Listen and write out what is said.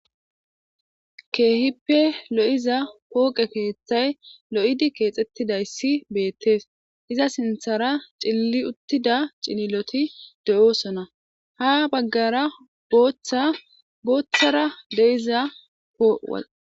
Keehippe lo'iza pooqe keeththay lo'idi keexetidayssi beettees iza sinththara cilili uttida cililoti de'osona ha baggara booththara de'iza po...